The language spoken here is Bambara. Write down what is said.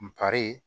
N kari